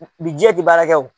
t'i baarakɛ o.